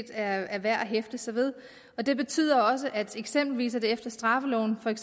er værd at hæfte sig ved det betyder eksempelvis også at det efter straffeloven er